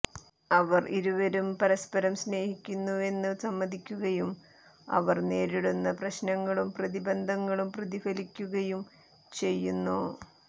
അവർ ഇരുവരും പരസ്പരം സ്നേഹിക്കുന്നുവെന്ന് സമ്മതിക്കുകയും അവർ നേരിടുന്ന പ്രശ്നങ്ങളും പ്രതിബന്ധങ്ങളും പ്രതിഫലിപ്പിക്കുകയും ചെയ്യുന്നു